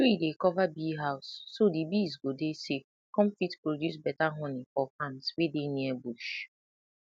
tree dey cover bee house so di bees go dey safe com fit produce better honey for farms wey dey near bush